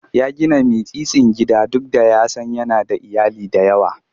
Ya gina mitsitsin gida duk da ya san yana da iyali da yawa.